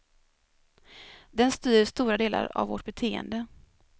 Den styr stora delar av vårt beteende.